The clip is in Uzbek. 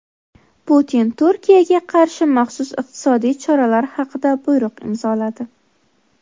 Putin Turkiyaga qarshi maxsus iqtisodiy choralar haqida buyruq imzoladi.